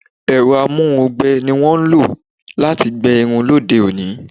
Ẹ̀rọ amú irun gbẹ ní wọ́n ń lo láti gbe irun lóde òní